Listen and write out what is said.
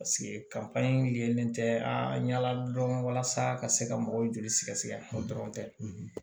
yelen tɛ a ɲa la dɔrɔn walasa ka se ka mɔgɔw joli sɛgɛsɛgɛ o dɔrɔn tɛ